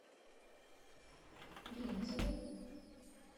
ремизовой